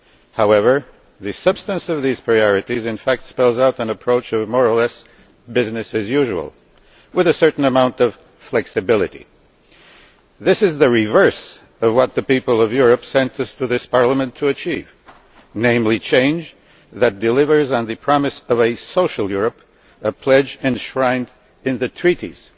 However, the substance of these priorities in fact spells out an approach that is, more or less, business as usual, with a certain amount of flexibility. This is the opposite of what the people of Europe sent us to this Parliament to achieve, namely change that delivers on the premise of a social Europe a pledge enshrined in the Treaties.